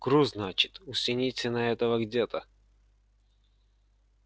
груз значит у синицына этого где-то